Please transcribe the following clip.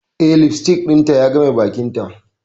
Eh, lipstick dinta ya game bakinta.